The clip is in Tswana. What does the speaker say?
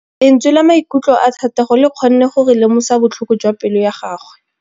Lentswe la maikutlo a Thategô le kgonne gore re lemosa botlhoko jwa pelô ya gagwe.